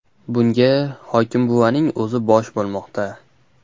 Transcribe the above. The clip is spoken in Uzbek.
Bunga hokimbuvaning o‘zi bosh bo‘lmoqda.